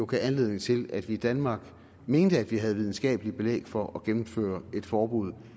gav anledning til at vi i danmark mente at vi havde videnskabeligt belæg for at gennemføre et forbud